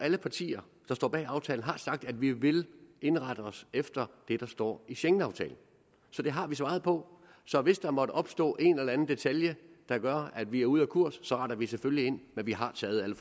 alle partier der står bag aftalen har naturligvis sagt at vi vil indrette os efter det der står i schengenaftalen så det har vi svaret på så hvis der måtte opstå en eller anden detalje der gør at vi er ude af kurs retter vi selvfølgelig ind men vi har taget alle